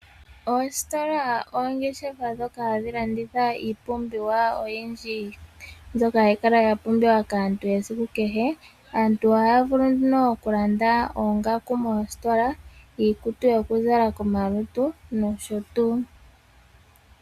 Oositola noongeshefa dhoka ha dhi landitha iipumbiwa oyindji, mbyoka ha yi kala ya pumbiwa kaantu esiku kehe. Aantu oha ya vulu nduno okulanda oongaku moostola, iikutu yoku zala komalutu nosho tuu.